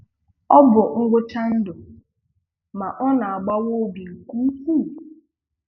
Ọ bụ ngwụcha ndụ, ma ọ na-agbawa obi nke ukwuu